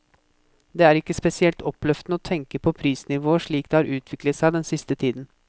Det er ikke spesielt oppløftende å tenke på prisnivået slik det har utviklet seg den siste tiden.